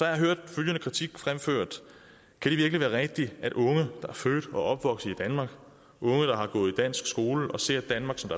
jeg hørt følgende kritik fremført kan det virkelig være rigtigt at unge der er født og opvokset i danmark unge der har gået i dansk skole og ser danmark som